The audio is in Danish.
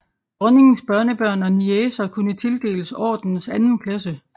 Dronningens børnebørn og niecer kunne tildeles ordenens anden klasse